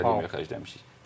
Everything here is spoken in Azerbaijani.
Komandaya xərcləmişik.